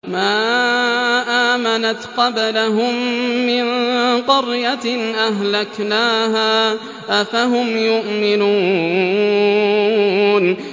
مَا آمَنَتْ قَبْلَهُم مِّن قَرْيَةٍ أَهْلَكْنَاهَا ۖ أَفَهُمْ يُؤْمِنُونَ